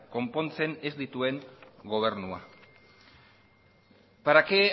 konpontzen ez dituen gobernua para qué